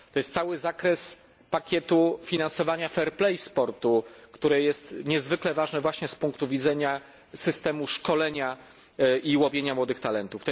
To jest cały zakres pakietu finansowania fair play sportu, które jest niezwykle ważne właśnie z punktu widzenia systemu szkolenia i łowienia młodych talentów.